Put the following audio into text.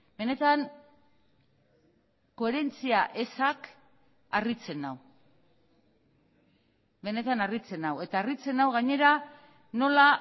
benetan koherentzia ezak harritzen nau benetan harritzen nau eta harritzen nau gainera nola